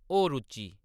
होर उच्ची